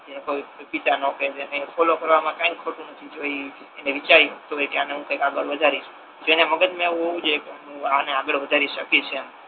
ખોલવા કરવા મા કાઇ ખોટુ નથી જો ઇ એને વિચારી શકતો હોય કે આને હુ કાઈક આગળ વધારીશ જેને મગજ મા એવુ હોવુ જોઈએ કે હુ આને આગળ વધારી સકીશ એમ